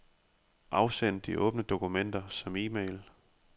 Afsend de åbne dokumenter som e-mail.